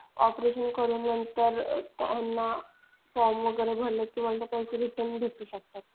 Operation करून नंतर त्यांना फॉर्म वगैरे भरलेले पैसे परत रिटर्न भेटू शकतात.